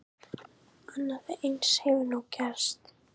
Annað eins hefur nú gerst.